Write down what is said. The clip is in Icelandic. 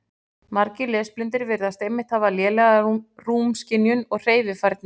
Margir lesblindir virðast einmitt hafa lélega rúmskynjun og hreyfifærni.